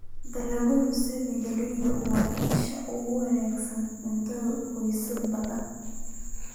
Dalagyada sida galleyda waa isha ugu weyn ee cuntada qoysas badan.